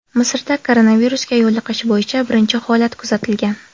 Misrda koronavirusga yo‘liqish bo‘yicha birinchi holat kuzatilgan .